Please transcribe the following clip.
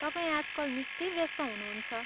तपाईँ आजकल निकै व्यस्त हुनुहुन्छ।